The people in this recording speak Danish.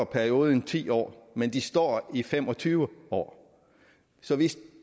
periode end ti år men de står i fem og tyve år så hvis